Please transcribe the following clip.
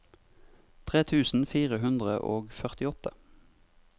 tre tusen fire hundre og førtiåtte